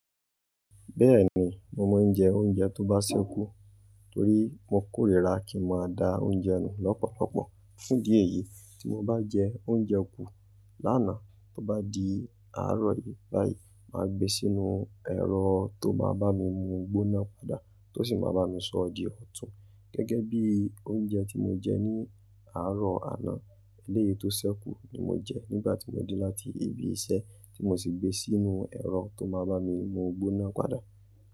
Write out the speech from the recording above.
Bẹ́ẹ̀ni, mo máa ń jẹ oúnjẹ tó bá ṣẹ́ kú torí mo kórìíra kí n máa da oúnjẹ nù lọ́pọ̀lọpọ̀. Fún idi eyì, tí mo bá jẹ oúnjẹ kú lánàá tó bá di àárọ̀ yìí báyìí, mà á gbe sínú ẹ̀rọ tó máa bá mi mú gbóná padà tó sì máa bá mi sọ di ọ̀tún. Gẹ́gẹ́ bí oúnjẹ tí mo jẹ ní àárọ̀ àná eléyìí tó ṣẹ́ kú ni mo jẹ nígbà tí mo dé láti ibi iṣẹ́ tí mo sì gbé sínú ẹ̀rọ tó máa bá mi mú gbóná padà.